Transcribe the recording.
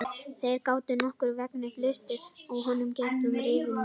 Þeir gátu nokkurn veginn fylgst með honum gegnum rifur á girðingunni.